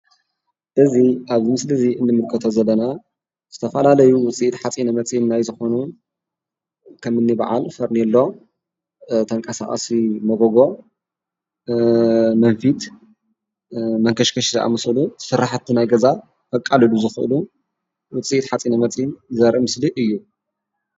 እዚ ኣብዚ ምስሊ እዚ እንምልከቶ ዘለና ዝተፈላለዩ ዉጽኢት ሓፂን መጺን ናይ ዝኮኑ ከምኒ በዓል ፈርነሎ፣ ተንቃሳቀሲ መጎጎ፣ መንፊት፣ መንከሽከሽ ዝኣመሰሉ ስራሕቲ ናይ ገዛ ከቃልሉ ዝክእሉ ዉጽኢት ሓፂነ መጺን ዘርኢ ምስሊ እዩ፡፡